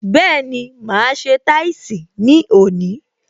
Bẹẹni, máa ṣe táìsì ní òní